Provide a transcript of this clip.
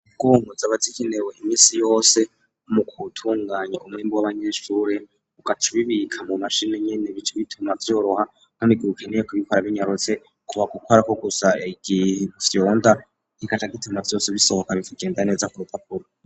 Kunku zama zikenewe imisi yose mu kutunganya umwimbo w'abanyeshure ugaca ubibika mu mashini nyene bice bituma vyoroha kandi igihe ukeneye kubikora binyarutse kuba gukorako gusa igifyonda kigaca gituma vyose bisohoka bikagenda neza ku rupapuro.